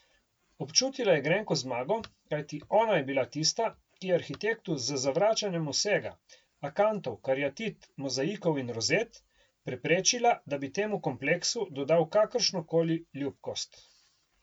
Občutila je grenko zmago, kajti ona je bila tista, ki je arhitektu z zavračanjem vsega, akantov, kariatid, mozaikov in rozet, preprečila, da bi temu kompleksu dodal kakršnokoli ljubkost.